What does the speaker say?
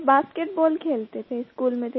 sir basketball खेलते थे school में